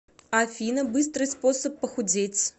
афина быстрый способ похудеть